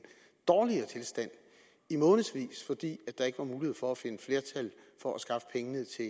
dårligere tilstand i månedsvis fordi der ikke var mulighed for at finde flertal for at skaffe pengene til